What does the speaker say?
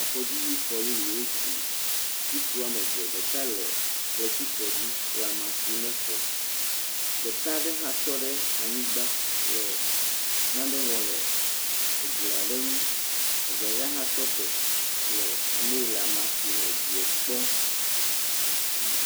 Avɔdzi xɔ yeye wotu. Ŋutsu woame eve, ɖeka le kletifɔ dzi le ama sim na exɔ, ɖeka ɖe hã tɔ ɖeanyigba le nane wɔm le eglia ɖe ŋu, evelia hã tɔte le ame yi le ama sim le edie kpɔm.